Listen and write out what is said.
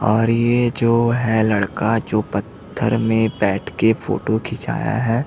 और ये जो है लड़का जो पत्थर में बैठ के फोटो खिंचाया हैं।